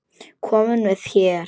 Kominn með her!